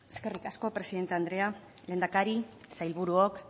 eskerrik asko presidente andrea lehendakari sailburuok